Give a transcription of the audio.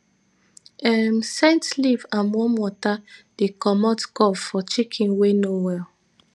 um scent leaf and warm water dey commot cough for chicken wey no well